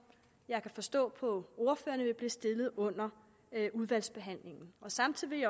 jeg kan forstå på ordførerne vil blive stillet under udvalgsbehandlingen samtidig